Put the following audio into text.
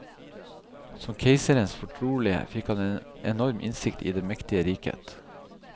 Som keisernes fortrolige fikk han en enorm innsikt i det mektige riket.